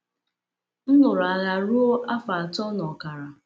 M lụrụ agha ruo afọ atọ na ọkara.